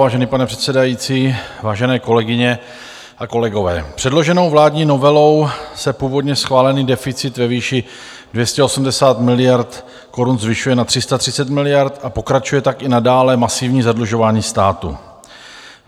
Vážený pane předsedající, vážené kolegyně a kolegové, předloženou vládní novelou se původně schválený deficit ve výši 280 miliard korun zvyšuje na 330 miliard a pokračuje tak i nadále masivní zadlužování státu.